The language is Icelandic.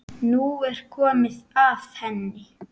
Nú er komið að henni.